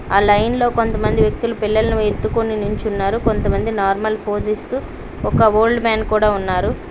ఆ లైన్ లో కొంతమంది వ్యక్తులు పిల్లల్ని ఎత్తుకుని నించున్నారు కొంతమంది నార్మల్ పోస్ ఇస్తూ ఒక ఓల్డ్ మ్యాన్ కూడా ఉన్నారు.